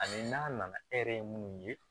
Ani n'a nana e yɛrɛ ye munnu ye